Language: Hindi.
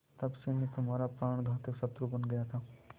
तब से मैं तुम्हारा प्राणघातक शत्रु बन गया था